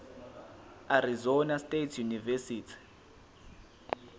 arizona state university